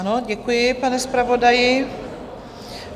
Ano, děkuji, pane zpravodaji.